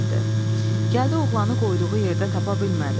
Gəldi oğlanı qoyduğu yerdə tapa bilmədi.